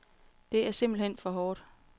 Det er simpelthen for hårdt.